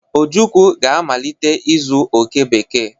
Ojukwu ga-amalite ịzụ oke bekee.